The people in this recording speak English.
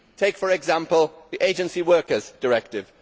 Take, for example, the Agency Workers Directive.